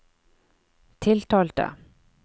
tiltalte